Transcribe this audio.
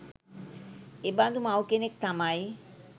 එබඳු මව් කෙනෙක් තමයි